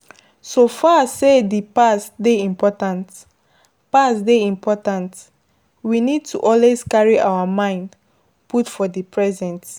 So far sey di past dey important, past dey important, we need to always carry our mind put for di present